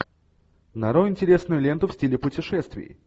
нарой интересную ленту в стиле путешествий